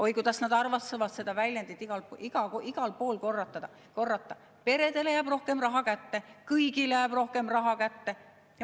Oi, kuidas nad armastavad igal pool korrata seda väljendit: peredele jääb rohkem raha kätte, kõigile jääb rohkem raha kätte.